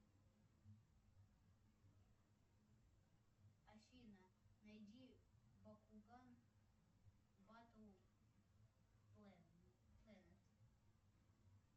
афина найди бакуган баттл плэнет